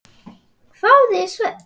hváði Svenni.